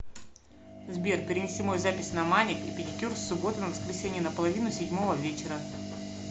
сбер перенеси мою запись на маник и педикюр с субботы на воскресенье на половину седьмого вечера